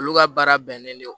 Olu ka baara bɛnnen don